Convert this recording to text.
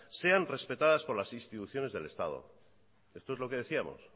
sean respetadas por las instituciones del estado esto es lo que decíamos